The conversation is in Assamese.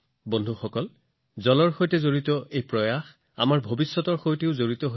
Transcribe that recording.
বন্ধুসকল পানীৰ সৈতে সম্পৰ্কিত সকলো প্ৰচেষ্টা আমাৰ ভৱিষ্যতৰ সৈতে সম্পৰ্কিত